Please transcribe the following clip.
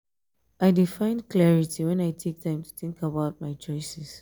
i dey find clarity when i take time to think about my choices.